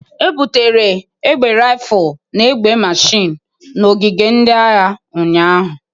E butere egbe Rifụl na egbe mashin n'ogige ndị agha ụnyahụ.